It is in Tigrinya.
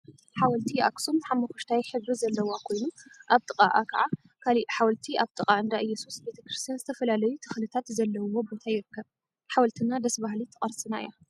ሓወልቲ ኣክሱም ሓመኩሽታይ ሕብሪ ዘለዋ ኮይኑ ኣብ ጥቃኣ ከዓ ካሊእ ሓወልቲ ኣብ ጥቃ እንዳ እየሱስ ቤተ ክርስትያን ዝተፈላለዩ ተክሊታት ዘለውዎ ቦታ ይርከብ። ሓወልትና ደስ በሃሊት ቅርስና እያ።